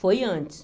Foi antes.